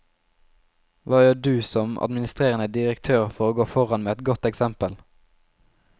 Hva gjør du som administrerende direktør for å gå foran med et godt eksempel?